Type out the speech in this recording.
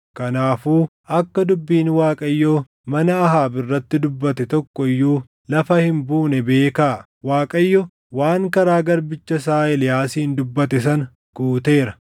Kanaafuu akka dubbiin Waaqayyo mana Ahaab irratti dubbate tokko iyyuu lafa hin buune beekaa. Waaqayyo waan karaa garbicha isaa Eeliyaasiin dubbate sana guuteera.”